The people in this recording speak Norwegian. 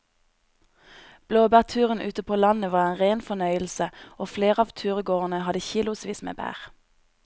Blåbærturen ute på landet var en rein fornøyelse og flere av turgåerene hadde kilosvis med bær.